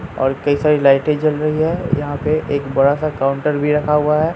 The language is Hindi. और कई सारी लाइटें जल रही है यहां पे एक बड़ा सा काउंटर भी रखा हुआ है।